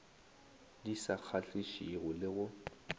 di sa kgahlišego le go